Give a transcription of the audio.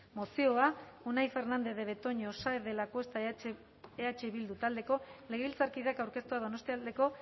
mozioa unai fernandez de betoño saenz de lacuesta eh bildu taldeko legebiltzarkideak aurkeztua donostialdeko